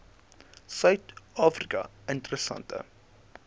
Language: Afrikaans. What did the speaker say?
suid afrika interessante